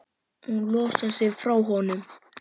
Hún losar sig frá honum.